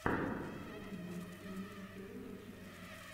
санек микс первая часть